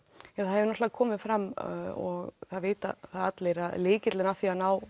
það hefur náttúrulega komið fram og það vita allir að lykillinn að því að ná